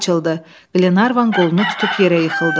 Güllə açıldı, Glenarvan qolunu tutub yerə yıxıldı.